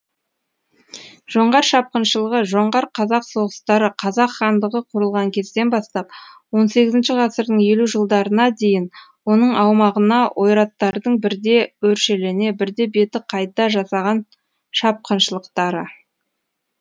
жоңғар шапқыншылығы жоңғар қазақ соғыстары қазақ хандығы құрылған кезден бастап он сегізінші ғасырдың елу жылдарына дейін оның аумағына ойраттардың бірде өршелене бірде беті қайта жасаған шапқыншылықтары